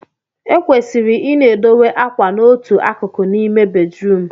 Ekwesịrị I na-edowe akwa na otu akụkụ n'ime bedrum